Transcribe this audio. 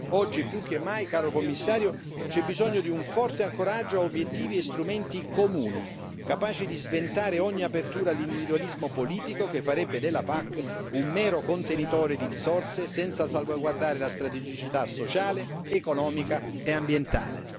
Oggi più che mai, caro Commissario, c'è bisogno di un forte ancoraggio a obiettivi e strumenti comuni, capaci di sventare ogni apertura all'individualismo politico che farebbe della PAC un mero contenitore di risorse senza salvaguardare la strategicità sociale, economica e ambientale.